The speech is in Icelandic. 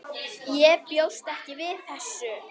Ég bjóst ekki við þessu.